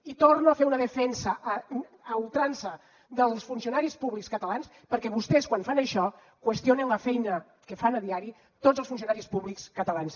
i torno a fer una defensa a ultrança dels funcionaris públics catalans perquè vostès quan fan això qüestionen la feina que fan a diari tots els funcionaris públics catalans